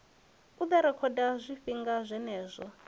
u ḓo rekhoda zwifhinga zwenezwo